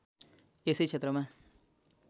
यसै क्षेत्रमा